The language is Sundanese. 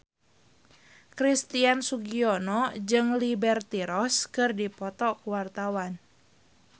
Christian Sugiono jeung Liberty Ross keur dipoto ku wartawan